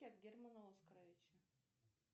германа оскоровича